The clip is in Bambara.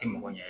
Tɛ mɔgɔ ɲɛ